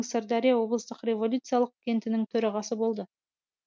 сырдария облыстық революциялық кентінің төрағасы болды